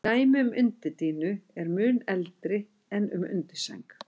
Dæmi um undirdýnu eru mun eldri en um undirsæng.